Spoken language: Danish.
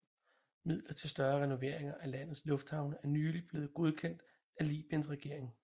Midler til større renoveringer af landets lufthavne er nyligt blievet godkendt af Libyens regering